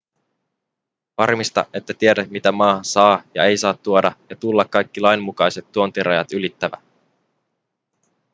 varmista että tiedät mitä maahan saa ja ei saa tuoda ja tullaa kaikki lainmukaiset tuontirajat ylittävä